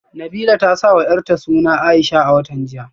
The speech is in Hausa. Nabilah ta sawa yarta suna Aisha a watan jiya